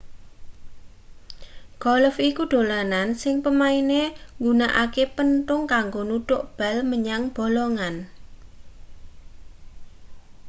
golf iku dolanan sing pemaine nggunakake penthung kanggo nuthuk bal menyang bolongan